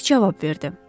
Dik cavab verdi.